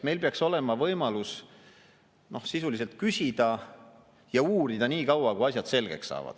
Meil peaks olema võimalus sisuliselt küsida ja uurida nii kaua, kui asjad selgeks saavad.